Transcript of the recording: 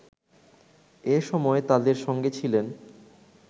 এ সময় তাদের সঙ্গে ছিলেন